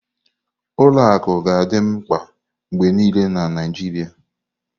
Ụlọ akụ ga-adị mkpa mgbe niile na Naijiria.